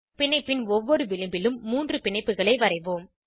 பிணைப்பின் ஒவ்வொரு விளிம்பிலும் மூன்று பிணைப்புகளை வரைவோம்